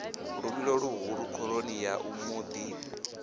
luvhilo luhulu khoroni ya muḓi